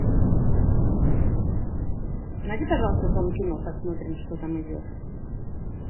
найди пожалуйста дом кино посмотрим что там идет